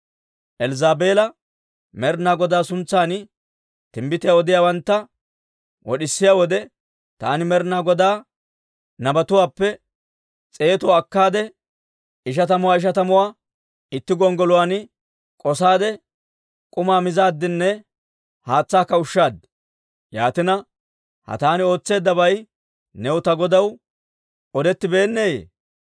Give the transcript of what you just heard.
Elzzaabeela Med'inaa Godaa suntsan timbbitiyaa odiyaawantta wod'isiyaa wode, taani Med'inaa Godaa nabatuwaappe s'eetuwaa akkaade, ishatamuwaa ishatamuwaa itti gonggoluwaan k'osaade, k'umaa mizaaddinne haatsaakka ushshaad. Yaatina, ha taani ootseeddabay new ta godaw odettibeenneeyye?